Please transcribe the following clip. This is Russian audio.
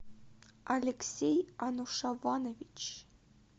алексей анушаванович